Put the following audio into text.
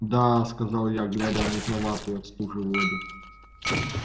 да сказал я глядя в мутноватую от стужи воду